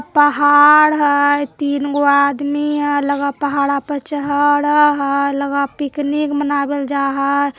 पहाड़ हेय | तीनगो आदमी हेय | लगा ह पिकनिक मनाबे ले जाय ह |